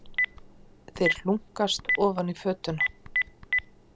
Þeir hlunkast ofan í fötuna.